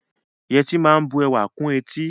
Yẹtí máa ń bu ẹwà kún etí